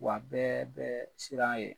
Wa bɛɛ bɛ siran ye.